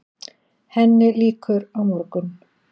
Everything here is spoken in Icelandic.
Henni lýkur á morgun.